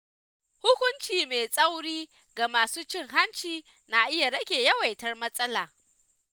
Hukunci mai tsauri ga masu cin hanci na iya rage yawaitar matsalar.